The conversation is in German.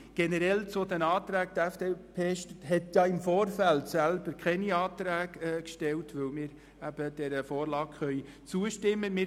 Noch generell zu den Anträgen: Die FDP hat im Vorfeld keine eigenen Anträge gestellt, weil wir dieser Vorlage zustimmen können.